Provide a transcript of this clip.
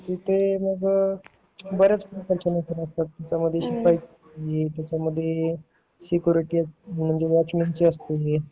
तिथे मग बऱ्याच प्रकारच्या नोकऱ्या असतात त्यामध्ये शिपाई त्याचामध्ये सेक्युरिटी म्हणजे वॉचमन ची असते